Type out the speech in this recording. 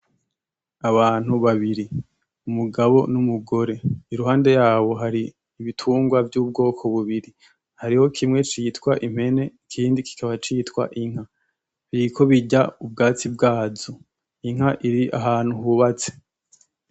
Abantu babiri umugabo n'umugore iruhande yabo hari ibitungwa vy’ubwoko bubiri hariho kimwe citwa impene ikindi kikaba citwa inka, biriko birya ubwatsi bwazo ,inka iri ahantu hubatse.